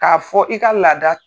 K'a fɔ i ka laada.